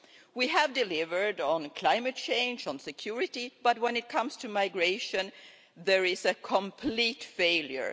We have delivered on climate change and security, but when it comes to migration, there is a complete failure.